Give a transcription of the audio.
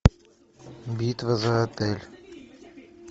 битва за отель